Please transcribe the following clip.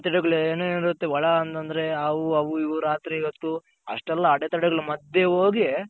ಎಷ್ಟೆಲ್ಲಾ ಅಡೆ ತಡೆ ಗಳು ಏನೆನಿರುತ್ತೆ ಒಳ ಅಂತಂದ್ರೆ ಹಾವು ಅವು ಇವು ರಾತ್ರಿ ಹೊತ್ತು ಅಷ್ಟೆಲ್ಲಾ ಅಡೆ ತಡೆ ಗಳ ಮದ್ಯ ಹೋಗಿ